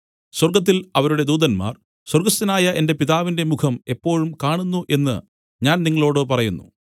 സ്വർഗ്ഗത്തിൽ അവരുടെ ദൂതന്മാർ സ്വർഗ്ഗസ്ഥനായ എന്റെ പിതാവിന്റെ മുഖം എപ്പോഴും കാണുന്നു എന്നു ഞാൻ നിങ്ങളോടു പറയുന്നു